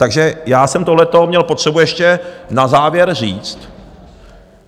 Takže já jsem tohleto měl potřebu ještě na závěr říct.